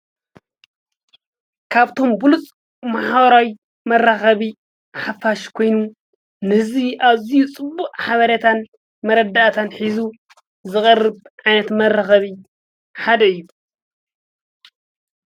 ካብቶም ብሉፅ ማሕበራዊ መራኸቢ ሓፋሽ ኮይኑ ንህዝቢ ኣብ ኣዝዩ ፅቡቅ ሓበሬታን መረዳእታን ሒዙ ዝቐርብ ዓይነት መራኸቢ ሓደ እዩ።